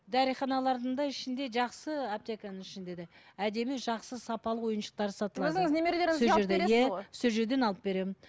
дәріханалардың да ішінде жақсы аптеканың ішінде де әдемі жақсы сапалы ойыншықтар сатылады өзіңіз немелерлеріңізге алып бересіз ғой сол жерден алып беремін